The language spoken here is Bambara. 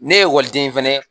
Ne ye ekɔliden fɛnɛ ye